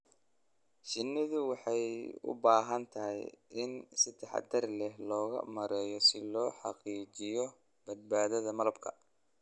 Shinnidu waxay u baahan tahay in si taxadar leh loo maareeyo si loo xaqiijiyo badbaadada malabka.